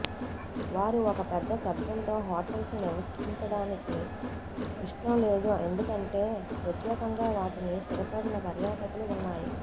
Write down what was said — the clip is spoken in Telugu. వారు ఒక పెద్ద శబ్దంతో హోటల్స్ నివసించడానికి ఇష్టం లేదు ఎందుకంటే ప్రత్యేకంగా వాటిని స్థిరపడిన పర్యాటకులు ఉన్నాయి